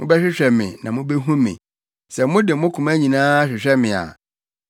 Mobɛhwehwɛ me na mubehu me, sɛ mode mo koma nyinaa hwehwɛ me a.